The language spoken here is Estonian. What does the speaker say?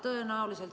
Tänan!